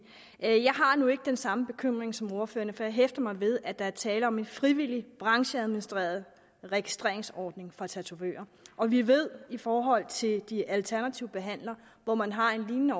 jeg har nu ikke den samme bekymring som ordføreren har for jeg hæfter mig ved at der er tale om en frivillig brancheadministreret registreringsordning for tatovører vi ved i forhold til de alternative behandlere hvor man har en lignende